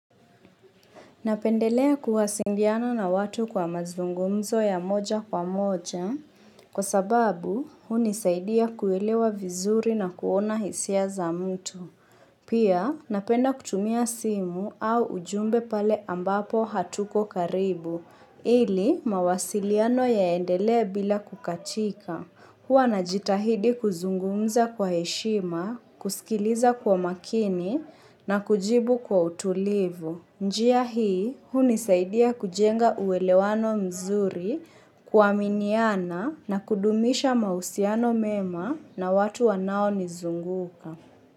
Napendelea kuwasiliana na watu kwa mazungumzo ya moja kwa moja, kwa sababu hunisaidia kuelewa vizuri na kuona hisia za mtu. Pia napenda kutumia simu au ujumbe pale ambapo hatuko karibu, ili mawasiliano yaendelee bila kukatika. Huwa na jitahidi kuzungumza kwa heshima, kusikiliza kwa makini na kujibu kwa utulivu. Njia hii, huni saidia kujenga uwelewano mzuri kuaminiana na kudumisha mahusiano mema na watu wanao nizunguka.